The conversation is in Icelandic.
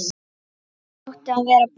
Þetta átti að vera búið.